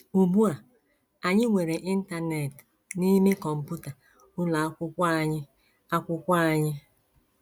Ugbu a, anyị nwere Internet n’ime kọmputa ụlọ akwụkwọ anyị akwụkwọ anyị!